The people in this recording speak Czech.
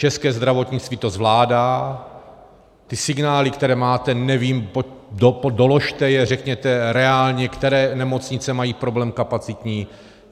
České zdravotnictví to zvládá, ty signály, které máte, nevím, doložte je, řekněte reálně, které nemocnice mají problém kapacitní.